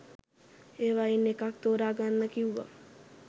ඒවයින් එකක් තෝරගන්න කිව්වා.